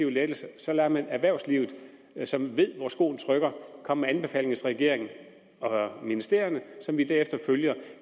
lettelser så lader man erhvervslivet som ved hvor skoen trykker komme med anbefalinger til regeringen og ministerierne som vi derefter følger